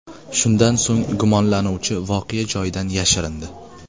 Shundan so‘ng, gumonlanuvchi voqea joyidan yashirindi.